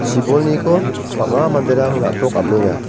chibolniko bang·a manderang na·tok amenga.